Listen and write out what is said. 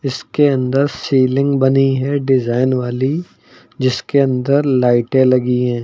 इसके अंदर सीलिंग बनी है डिजाइन वाली जिसके अंदर लाइटें लगी हैं।